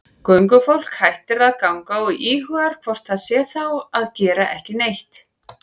Göngufólk hættir að ganga og íhugar hvort það sé þá að gera ekki neitt.